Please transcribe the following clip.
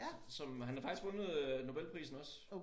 Som øh han har faktisk vundet Nobelprisen også